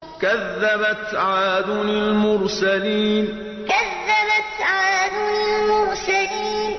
كَذَّبَتْ عَادٌ الْمُرْسَلِينَ كَذَّبَتْ عَادٌ الْمُرْسَلِينَ